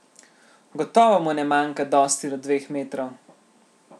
Gotovo mu ne manjka dosti do dveh metrov.